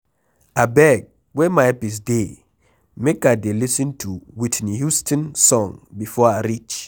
Abeg where my earpiece dey make I dey lis ten to Whitney Houston song before I reach.